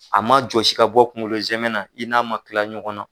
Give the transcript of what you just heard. A ma jɔsi ka bɔ kunkolo zɛmɛ na, i n'a ma kila ɲɔgɔn na